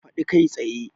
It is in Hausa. Faɗi kai tsaye!